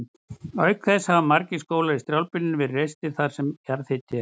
Auk þess hafa margir skólar í strjálbýlinu verið reistir þar sem jarðhiti er.